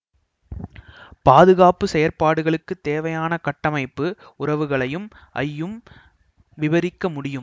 பாதுகாப்பு செயற்பாடுகளுக்கு தேவையான கட்டமைப்பு உறவுகளையும் ஐயும் விபரிக்க முடியும்